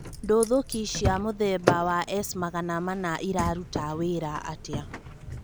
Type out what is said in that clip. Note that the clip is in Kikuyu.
Ndũthũki cia mũthemba wa S-magana mana iraruta wĩra atĩa?